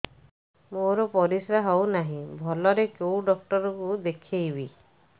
ମୋର ପରିଶ୍ରା ହଉନାହିଁ ଭଲରେ କୋଉ ଡକ୍ଟର କୁ ଦେଖେଇବି